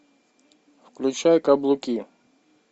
включай каблуки